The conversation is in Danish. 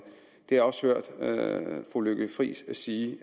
det også hørt fru lykke friis sige